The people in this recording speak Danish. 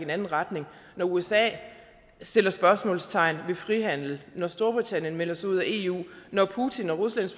anden retning når usa sætter spørgsmålstegn ved frihandel når storbritannien melder sig ud af eu når putin og